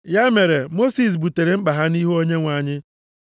Ya mere, Mosis butere mkpa ha nʼihu Onyenwe anyị.